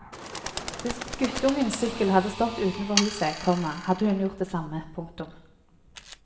Hvis guttungens sykkel hadde stått utenfor huset, komma hadde hun gjort det samme. punktum